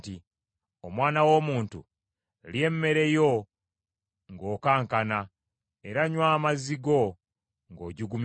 “Omwana w’omuntu, lya emmere yo ng’okankana, era nnywa amazzi go ng’ojugumira.”